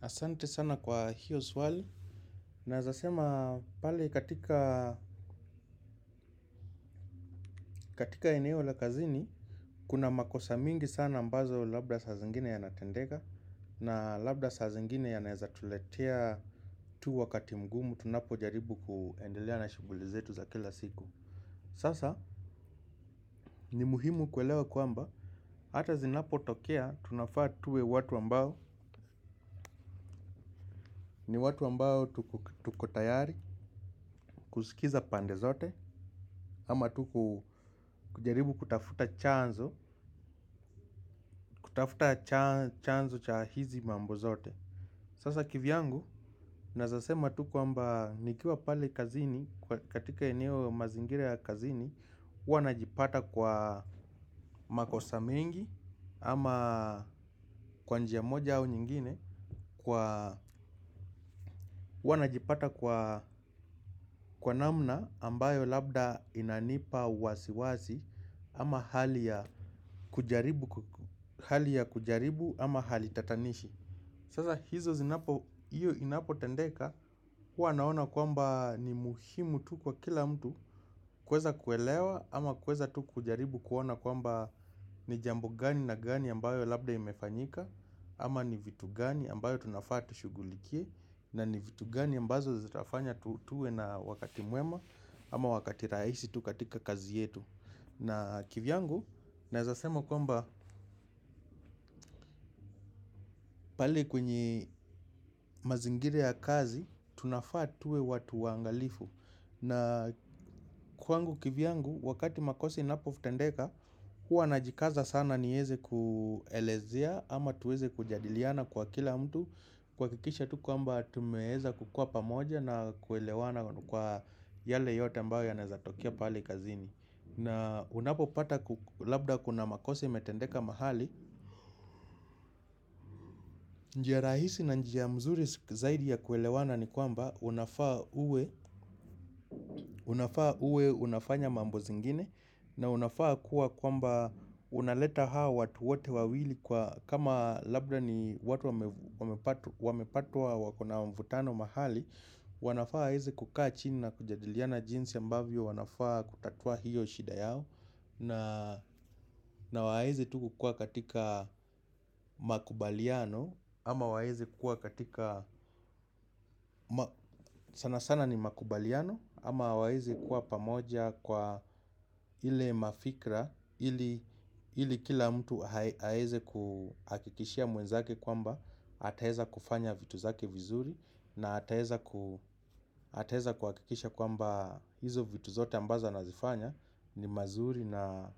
Asante sana kwa hiyo swali. Naweza sema pale katika katika eneo la kazini. Kuna makosa mingi sana ambazo labda saa zingine yanatendeka. Na labda saa zingine yanaweza tuletea tu wakati mgumu tunapojaribu kuendelea na shughuli zetu za kila siku. Sasa ni muhimu kuelewa kwamba hata zinapotokea tunafaa tuwe watu ambao ni watu ambao tuko tayari kusikiza pande zote ama tu kujaribu kutafuta chanzo kutafuta chanzo cha hizi mambo zote. Sasa kivyangu, naweza sema tu kwamba nikiwa pale kazini katika eneo mazingira ya kazini huwa najipata kwa makosa mengi ama kwa njia moja au nyingine huwa najipata kwa namna ambayo labda inanipa wasiwasi ama hali ya hali ya kujaribu ama hali tatanishi. Sasa hizo zinapo, hiyo inapotendeka huwa naona kwamba ni muhimu tu kwa kila mtu kuweza kuelewa ama kuweza tu kujaribu kuona kwamba ni jambo gani na gani ambayo labda imefanyika ama ni vitu gani ambayo tunafaa tushughulikie. Na ni vitu gani ambazo zitafanya tuwe na wakati mwema ama wakati rahisi tu katika kazi yetu na kivyangu, naweza sema kwamba pale kwenye mazingira ya kazi, tunafaa tuwe watu waangalifu. Na kwangu kivyangu, wakati makosa inapotendeka, huwa najikaza sana niweze kuelezea ama tuweze kujadiliana kwa kila mtu. Kuhakikisha tu kwamba tumeweza kukuwa pamoja na kuelewana kwa yale yote ambayo yanaweza tokea pale kazini. Na unapopata labda kuna makosa imetendeka mahali. Njia rahisi na njia mzuri zaidi ya kuelewana ni kwamba unafaa uwe unafaa uwe unafanya mambo zingine na unafaa kuwa kwamba unaleta hawa watu wote wawili kwa kama labda ni watu wamepatwa wako na mvutano mahali. Wanafaa waweze kukaa chini na kujadiliana jinsi ambavyo wanafaa kutatua hiyo shida yao na waweze tu kukuwa katika makubaliano ama waweze kuwa katika sana sana ni makubaliano ama waweze kuwa pamoja kwa ile mafikira ili kila mtu aweze kuhakikishia mwenzake kwamba ataweza kufanya vitu zake vizuri na ataweza ataweza kuhakikisha kwamba hizo vitu zote ambazo anazifanya ni mazuri na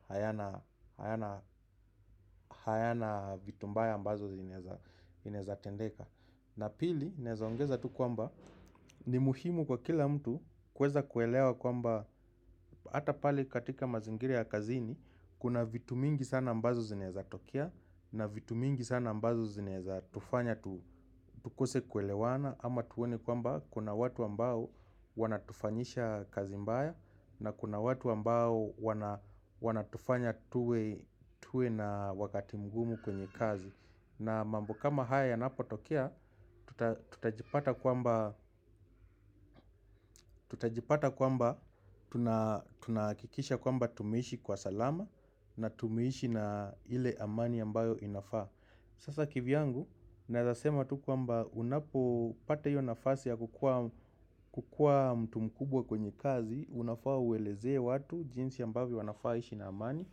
hayana vitu mbaya ambazo zinaweza inaweza tendeka na pili, naweza ongeza tu kwamba ni muhimu kwa kila mtu kuweza kuelewa kwamba hata pale katika mazingira ya kazini kuna vitu mingi sana ambazo zinaweza tokea. Na vitu mingi sana ambazo zinaweza tufanya tukose kuelewana ama tuone kwamba kuna watu ambao wanatufanyisha kazi mbaya. Na kuna watu ambao wanatufanya tuwe na wakati mgumu kwenye kazi. Na mambo kama haya yanapotokea tutajipata kwamba kwamba tunahakikisha kwamba tumeishi kwa salama. Na tumeishi na ile amani ambayo inafaa. Sasa kivyangu, naweza sema tu kwamba unapopata hiyo nafasi ya kukuwa mtu mkubwa kwenye kazi, unafaa ueleze watu jinsi ambavyo wanafaa waishi na amani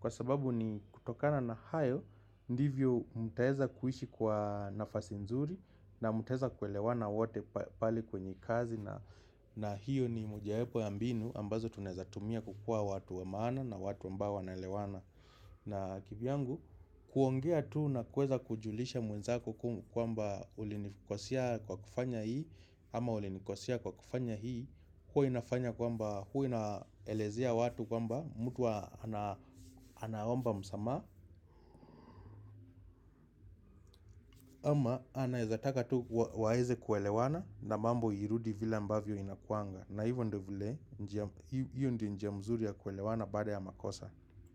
kwa sababu ni kutokana na hayo ndivyo mtaweza kuishi kwa nafasi nzuri na mtaweza kuelewana wote pale kwenye kazi na hiyo ni mojawapo ya mbinu ambazo tunaweza tumia kukuwa watu wa maana na watu ambao wanaelewana. Na kivyangu, kuongea tu na kuweza kujulisha mwenzako kwamba ulinikosea kwa kufanya hii ama ulinikosea kwa kufanya hii huwa inafanya kwamba huwa inaelezea watu kwamba mtu ana anaomba msamaha ama anaweza taka tu waweze kuelewana na mambo irudi vile ambavyo inakuanga na hivyo ndiyo vile njia, hiyo ndiyo njia mzuri ya kuelewana baada ya makosa.